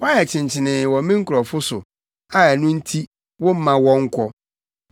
Woayɛ kyenkyenee wɔ me nkurɔfo so a ɛno nti, womma wɔnkɔ.